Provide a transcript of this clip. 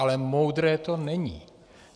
Ale moudré to není.